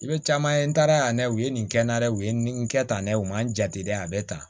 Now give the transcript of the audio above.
I bɛ caman ye n taara a ye u ye nin kɛ n na dɛ u ye nin kɛ tan ne u man jate dɛ a bɛ tan